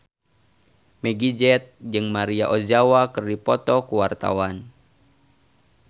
Meggie Z jeung Maria Ozawa keur dipoto ku wartawan